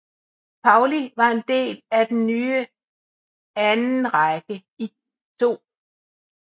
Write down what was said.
Pauli var en del af den nye andenrække i 2